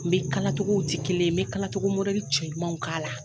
N be kalatogow ti kelen ye, n be togo cɛ ɲumanw k'a la.